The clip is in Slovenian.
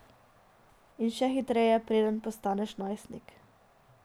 In še hitreje, preden postaneš najstnik.